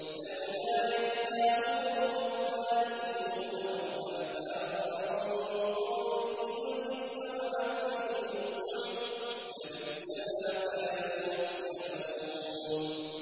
لَوْلَا يَنْهَاهُمُ الرَّبَّانِيُّونَ وَالْأَحْبَارُ عَن قَوْلِهِمُ الْإِثْمَ وَأَكْلِهِمُ السُّحْتَ ۚ لَبِئْسَ مَا كَانُوا يَصْنَعُونَ